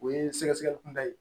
O ye sɛgɛsɛgɛli kunda ye